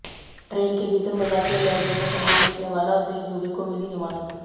train के भीतर मजाकिया लहजे में सामान बेचने वाला अवधेश दुबे को मिली जमानत